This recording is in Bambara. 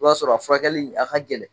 O b'a sɔrɔ a furakɛli a ka gɛlɛn